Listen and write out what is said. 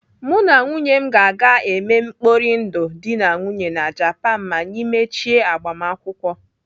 Mụ na nwunye m ga-eme mkpori ndụ dị na nwunye na Japan ma anyị mechie agbamakwụkwọ.